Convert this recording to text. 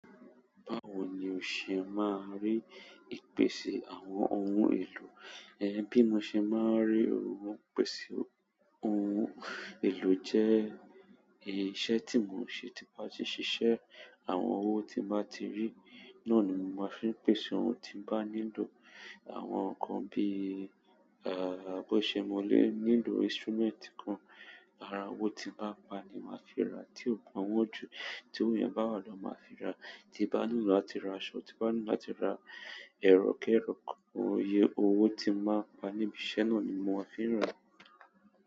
Báwo ni o ṣe máa ri ìpèsè àwọn ohun èlò? Bí mo ṣe máa rí ìpèsè ohun èlò jẹ́ iṣẹ̀ tí mò ń ṣe. Tí mo bá ti ṣiṣẹ́, àwọn owó tí mo bá ti rí, náà ni mo máa ń fi pèsè ohun tí n bá nílò. Àwọn nǹkan bíi, bó ṣe mo lé nílò instrument kan, ara owó tí mo bá pa ni máa fi ra. Ti ko ba won ju, ti owo yen ba wa lowo mi, maa fi ra. Tí n bá nílò láti ra aṣọ, tí bá nílò láti ra ẹrọ kẹ́rọ̀ kankan, owó tí mo bá pa níbi iṣẹ́ náà ni mo máa ń fi ra.